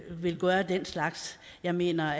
vil gøre den slags jeg mener